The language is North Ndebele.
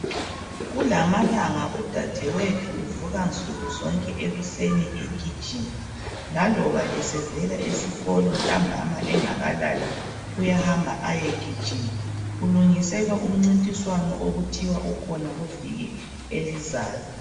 Kulamalanga udade wethu uvuka nsuku zonke ekuseni egijima. Laloba esevela esikolo ntambama engakalali uyahamba ayegijima. Ulungisela umcintiswano okuthiwa ukhona kuviki elizayo.